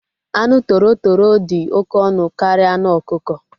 Anụ toro toro dị oké ọnụ karịa anụ okuko